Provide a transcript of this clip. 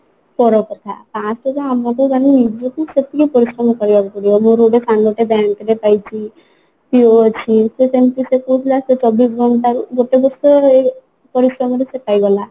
ପର କଥା first କଥା ହେଲା ଆମକୁ ମାନେ ନିଜକୁ ସେତିକି ପରିଶ୍ରମ କରିବାକୁ ପଡିବ ମୋର ଗୋଟେ ସାଙ୍ଗତେ bank ରେ ପାଇଛି PO ଅଛି ସେ ସେମତି ସେ କହୁଥିଲା ସେ ଚବିଶ ଘଣ୍ଟାରୁ ଗୋଟେ ବର୍ଷ ପରିଶ୍ରମରେ ସେ ପାଇଗଲା